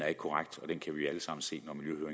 er korrekt og det kan vi alle sammen se